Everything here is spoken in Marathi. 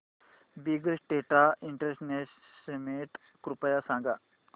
बिग डेटा इंटरनॅशनल समिट कृपया सांगा